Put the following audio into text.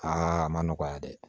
Aa ma nɔgɔya dɛ